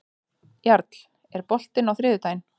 Jarl, er bolti á þriðjudaginn?